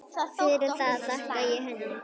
Fyrir það þakka ég henni.